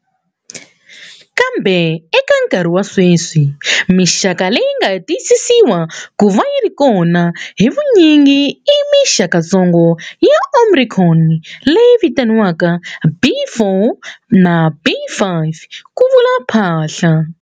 Kambe, eka nkarhi wa sweswi, mixaka leyi nga tiyisisiwa ku va yi ri kona hi vunyingi i mixakatsongo ya Omicron leyi vitaniwaka B.4 na B.5, ku vula Phaahla.